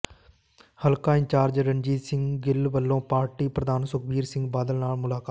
ਹਲਕਾ ਇੰਚਾਰਜ ਰਣਜੀਤ ਸਿੰਘ ਗਿੱਲ ਵਲੋਂ ਪਾਰਟੀ ਪ੍ਰਧਾਨ ਸੁਖਬੀਰ ਸਿੰਘ ਬਾਦਲ ਨਾਲ ਮੁਲਾਕਾਤ